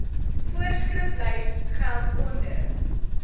voorskriflys geld onder